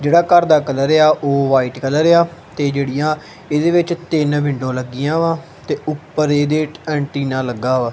ਜੇਹੜਾ ਘਰ ਦਾ ਕਲਰ ਆ ਉਹ ਵ੍ਹਾਈਟ ਕਲਰ ਆ ਤੇ ਜੇਹੜੀਆਂ ਏਹਦੇ ਵਿੱਚ ਤਿੰਨ ਵਿੰਡੋ ਲੱਗੀਆਂ ਵਾਂ ਤੇ ਊਪਰ ਏਹਦੇ ਏਂਟੀਨਾ ਲੱਗ਼ਾ ਵਾ।